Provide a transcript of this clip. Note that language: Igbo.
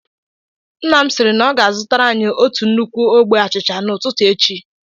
Nna m siri na ọ ga-azụtara anyị otù nnukwu ogbe achịcha n'ututu echi